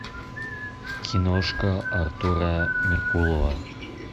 киношка артура меркулова